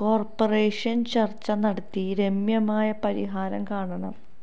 corporation ചര്ച്ച നടത്തി രമ്യമായ പരിഹാരം കാണണം